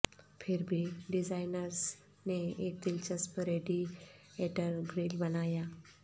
پھر بھی ڈیزائنرز نے ایک دلچسپ ریڈی ایٹر گریل بنایا